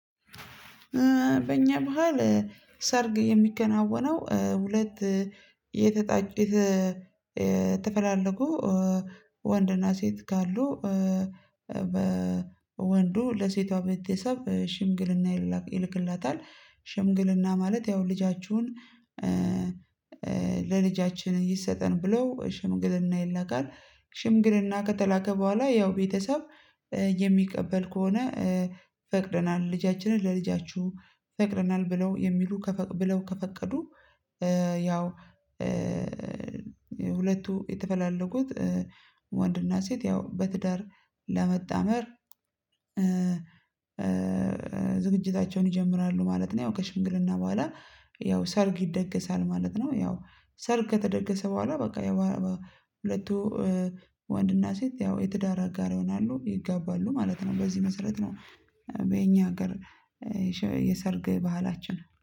በእኛ ባህል ሰርግ የሚከናወነው ሁለት የተጣ የተፈላለጉ ወንድና ሴት ካሉ በወንዱ ለሴቷ ቤተሰብ ሽምግልና ይልክለታል። ሽምግልና ማለት ያው ልጃችሁን ለልጃችን ይሰጠን ብለው ሽምግልና ይላካል። ሽምግልና ከተላከ በኋላ ያው ቤተሰብ የሚቀበል ከሆነ ፈቅደናል ልጃችንን ለልጃችሁ ፈቅደናል ብለው የሚሉ ብለው ከፈቀዱ ያው ሁለቱ የተፈላለጉት ወንድና ሴት ያው በትዳር ለመጣመር ዝግጅታቸውን ይጀምራሉ ማለት ነው። ከሽምግልና በኋላ ያው ሰርግ ይደገሳል ማለት ነው። ያው ሰርግ ከተደገሰ በኋላ በቃ ያው ሁለቱ ወንድና ሴት ያው የትዳር አጋር ይሆናሉ ይጋባሉ ማለት ነው። በዚህ መሰረት ነው። በእኛ ሀገር የሰርግ ባህላችን